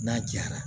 N'a jara